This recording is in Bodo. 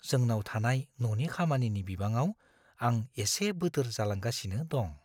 जोंनाव थानाय न'नि खामानिनि बिबाङाव आं एसे बोदोर जालांगासिनो दं।